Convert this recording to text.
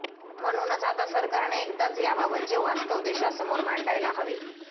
म्हणूनच आता सरकारने एकदाच याबाबतचे वास्तव देशासमोर मांडायला हवे